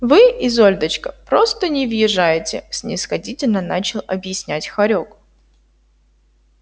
вы изольдочка просто не въезжаете снисходительно начал объяснять хорёк